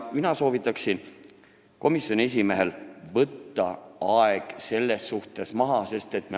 Mina soovitaksin komisjoni esimehel võtta aeg selles suhtes maha.